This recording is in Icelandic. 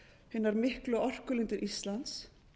hinar miklu orkulindir íslands